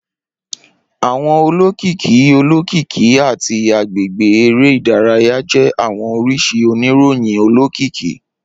Awọn olokiki olokiki ati agbegbe ere idaraya jẹ awọn oriṣi oniroyin olokiki.